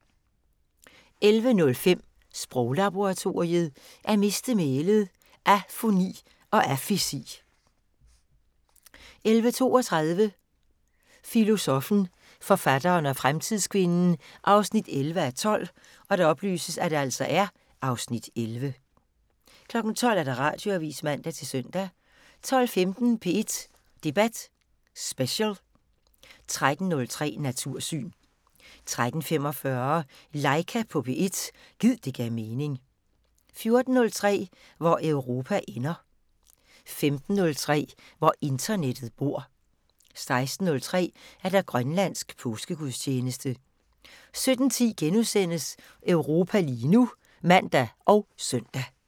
11:05: Sproglaboratoriet: At miste mælet - afoni og afesi 11:32: Filosoffen, forfatteren og fremtidskvinden 11:12 (Afs. 11) 12:00: Radioavisen (man-søn) 12:15: P1 Debat Special 13:03: Natursyn 13:45: Laika på P1 – gid det gav mening 14:03: Hvor Europa ender 15:03: Hvor internettet bor 16:03: Grønlandsk påskegudstjeneste 17:10: Europa lige nu *(man og søn)